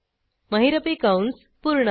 महिरपी कंस पूर्ण